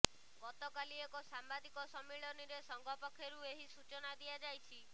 ଗତକାଲି ଏକ ସାମ୍ବାଦିକ ସମ୍ମିଳନୀରେ ସଂଘ ପକ୍ଷରୁ ଏହି ସୂଚନା ଦିଆଯାଇଛି